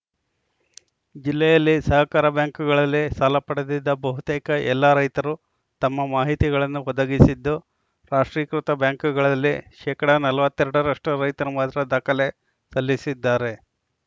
ಜಿಲ್ಲೆಯಲ್ಲಿ ಸಹಕಾರ ಬ್ಯಾಂಕುಗಳಲ್ಲಿ ಸಾಲ ಪಡೆದಿದ್ದ ಬಹುತೇಕ ಎಲ್ಲಾ ರೈತರು ತಮ್ಮ ಮಾಹಿತಿಗಳನ್ನು ಒದಗಿಸಿದ್ದು ರಾಷ್ಟ್ರೀಕೃತ ಬ್ಯಾಂಕುಗಳಲ್ಲಿ ಶೇಕಡ ನಲವತ್ತ್ ಎರಡ ರಷ್ಟುರೈತರು ಮಾತ್ರ ದಾಖಲೆ ಸಲ್ಲಿಸಿದ್ದಾರೆ